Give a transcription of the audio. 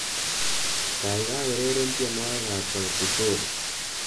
Kaikai ureren tienwokikab Sauti Sol